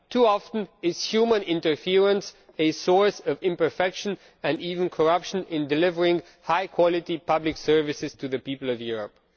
Too often it is human interference which is a source of imperfection and even corruption in delivering high quality public services to the people of Europe.